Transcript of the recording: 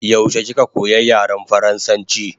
Yaushe kika koya yaren faransanchi?